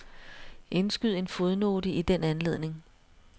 Indskyd en fodnote i den anledning.